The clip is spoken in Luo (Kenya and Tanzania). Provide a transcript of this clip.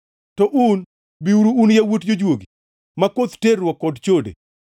“To un, biuru un yawuot jojuogi, ma koth terruok kod chode!